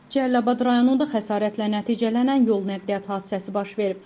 Cəlilabad rayonunda xəsarətlə nəticələnən yol nəqliyyat hadisəsi baş verib.